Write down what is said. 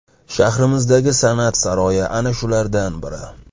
Shahrimizdagi san’at saroyi ana shulardan biri.